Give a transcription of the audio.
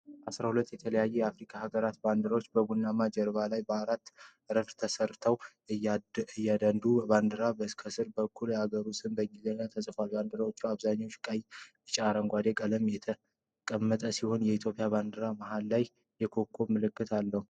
አሥራ ሁለት የተለያዩ የአፍሪካ አገሮች ባንዲራዎች በቡናማ ጀርባ ላይ በአራት ረድፍ ተሰድረዋል። እያንዳንዱ ባንዲራ ከስር በኩል የአገሩ ስም በእንግሊዝኛ ተጽፏል። ባንዲራዎቹ በአብዛኛው ቀይ፣ ቢጫና አረንጓዴ ቀለሞችን የተጠቀሙ ሲሆን፣ የኢትዮጵያ ባንዲራ መሃል ላይ የኮከብ ምልክት አለው።